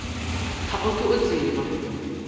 ga o ke o tseba